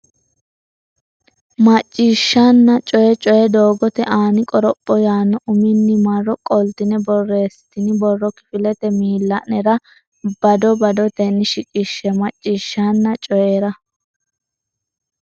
Macciishshanna Coyi Coyi Doogote Aani Qoropho yaanno uminni marro qoltine borreessitini borro kifilete miilla nera bado badotenni shiqishshe Macciishshanna Coyi.